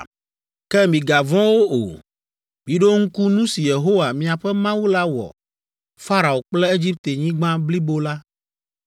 Ke migavɔ̃ wo o! Miɖo ŋku nu si Yehowa, miaƒe Mawu la wɔ Farao kple Egiptenyigba blibo la